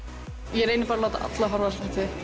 ég reyni bara að láta alla horfa